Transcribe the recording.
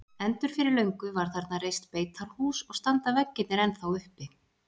Endur fyrir löngu var þarna reist beitarhús og standa veggirnir ennþá uppi.